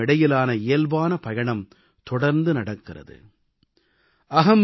இந்த இரண்டுக்கும் இடையிலான இயல்பான பயணம் தொடர்ந்து நடக்கிறது